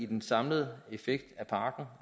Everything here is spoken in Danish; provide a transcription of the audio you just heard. den samlede effekt